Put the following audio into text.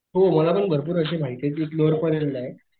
हो मला पण भरपूर अशे माहितेय कि